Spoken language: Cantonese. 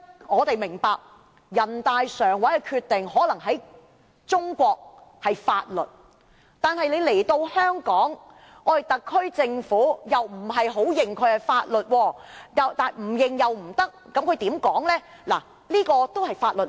我們明白，人大常委會的決定可能在中國是法律，但在香港，特區政府則不太承認是法律，卻又不得不承認是法律。